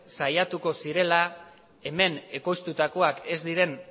saiatuko zirela hemen ekoiztutakoak ez diren